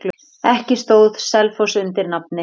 Ekki stóð Selfoss undir nafni.